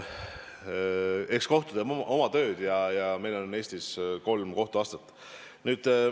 Eks kohus teeb oma tööd ja meil on Eestis kolm kohtuastet.